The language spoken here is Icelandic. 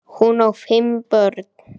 Hún á fimm börn.